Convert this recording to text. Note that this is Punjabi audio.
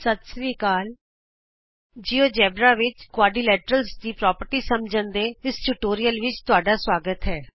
ਦੋਸਤੋ ਨਮਸਕਾਰ ਜਿਊਜੇਬਰਾ ਵਿਚ ਚਤੁਰਭੁਜ ਦੇ ਗੁਣ ਸਮਝਣ ਲਈ ਇਸ ਟਿਯੂਟੋਰਿਅਲ ਵਿਚ ਤੁਹਾਡਾ ਸੁਆਗਤ ਹੈ